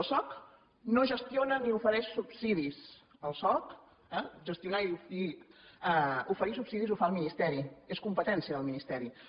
el soc no gestiona ni ofereix subsidis el soc gestionar i oferir subsidis ho fa el ministeri és competència del ministeri